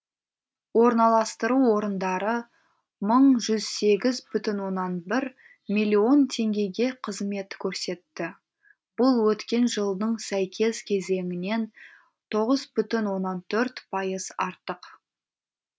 орналастыру орындары мың жүз сегіз бүтін оннан бір миллион теңгеге қызмет көрсетті бұл өткен жылдың сәйкес кезеңінен тоғыз бүтін оннан төрт пайыз артық